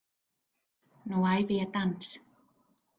Nú æfi ég dans.